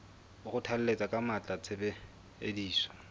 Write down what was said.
o kgothalletsa ka matla tshebediso